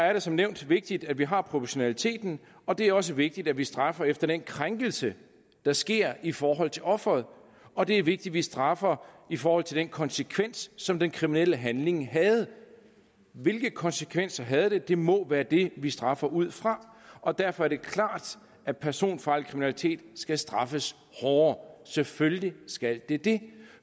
er det som nævnt vigtigt at vi har proportionaliteten og det er også vigtigt at vi straffer efter den krænkelse der sker i forhold til offeret og det er vigtigt at vi straffer i forhold til den konsekvens som den kriminelle handling havde hvilke konsekvenser havde den det må være det vi straffer ud fra og derfor er det klart at personfarlig kriminalitet skal straffes hårdere selvfølgelig skal det det